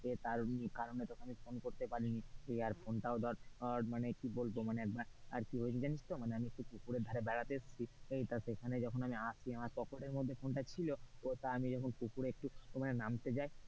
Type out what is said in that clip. এ তার কারণ এতখনই ফোন করতে পারি নি আর ফোন টাও ধর, ধর মানে কি বলবো আর কি হয়েছে জানিস তো মানে আমি পুকুরের ধারে বেড়াতে এসেছি এই তা সেখানে যখন আসছি মানে পকেটের মধ্যে ফোনটা ছিল তো তা আমি পুকুরে যখন নামতে যাই,